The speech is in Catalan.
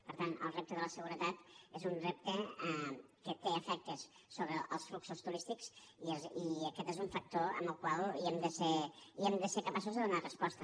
per tant el repte de la seguretat és un repte que té efectes sobre els fluxos turístics i aquest és un factor al qual hem de ser capaços de donar resposta